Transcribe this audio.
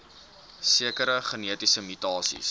sekere genetiese mutasies